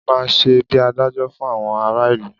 Ọba má n ṣe bíi adájọ fún àwọn ará ìlú